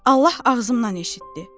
Allah ağzımdan eşitdi.